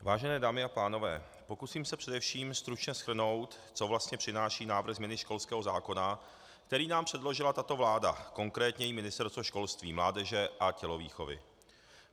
Vážené dámy a pánové, pokusím se především stručně shrnout, co vlastně přináší návrh změny školského zákona, který nám předložila tato vláda, konkrétně její Ministerstvo školství, mládeže a tělovýchovy.